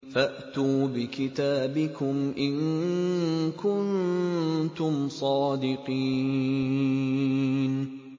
فَأْتُوا بِكِتَابِكُمْ إِن كُنتُمْ صَادِقِينَ